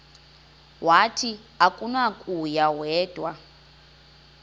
wathi akunakuya wedw